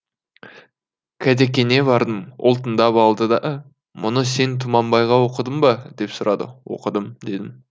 қадекеңе бардым ол тыңдап алды да мұны сен тұманбайға оқыдың ба деп сұрады оқыдым дедім